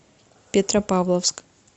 петропавловск